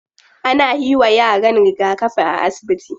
Ana yiwa yaran rigakafi a asibiti.